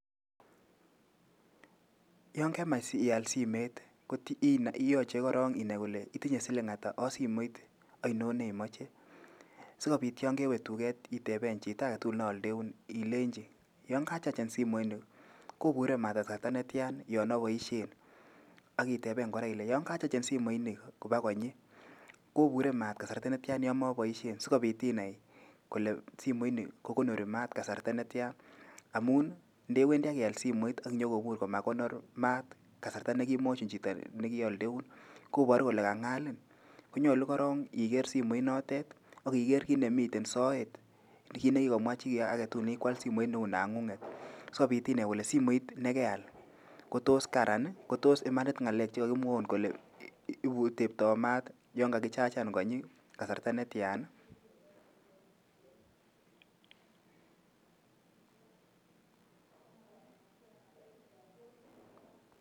Yangemach ial simet koyajei inai koron ile itinye siling ata ak simet inon neimoje. Si kobit yangewe duket iteben chito agetugul ne aldeun ilenji yangachachan simoini kobure maat kasarta netian yoon abaishen. Akiteben kore ile yan kachachan simoini kopa konyi kobure maat kasarte netian ya moboishen sikobit inai kole simoni kokonori maat kasarta netiaa. Amun ndewendi akial simoi akinyokobur komakanori maat kasarta nekimwajin chito nekialdeun kobaru kole king'alin. Konyalu koron iger simoit natet ak kiker kit ne miten sooet nekikomwa chi agetugul nekikwaal simet neunang'ung'et. Sokobit inai kole simoit nekeal kotos kararan kotos imanit ng'alek che kikimwaun kole tebtoo maat yan. kakichachan konyi kasasrta netian